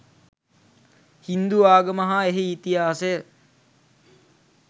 හින්දු ආගම හා එහි ඉතිහාසය